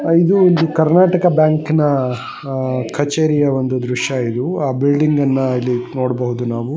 ಇದು ಒಂದು ಕರ್ನಾಟಕ ಬ್ಯಾಂಕಿನ ಅಹ್ ಕಚೇರಿಯ ಒಂದು ದೃಶ್ಯಇದು ಆ ಬಿಲ್ಡಿಂಗ್ ನ್ನ ಇಲ್ಲಿ ನೋಡ್ಬಹುದು ನಾವು--